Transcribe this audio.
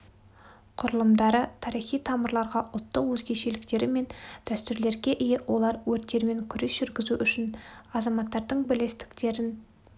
құрылымдары тарихи тамырларға ұлттық өзгешіліктері мен дәстүрлерге ие олар өрттермен күрес жүргізу үшін азаматтардың бірлестіктерін